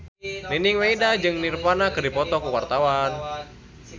Nining Meida jeung Nirvana keur dipoto ku wartawan